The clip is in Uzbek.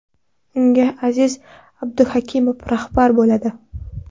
Unga Aziz Abduhakimov rahbar bo‘ladi.